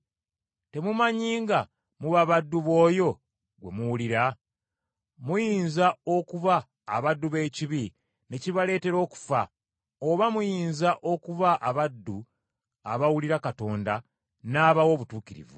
Temumanyi nga muba baddu b’oyo gwe muwulira? Muyinza okuba abaddu b’ekibi ne kibaleetera okufa, oba muyinza okuba abaddu abawulira Katonda n’abawa obutuukirivu.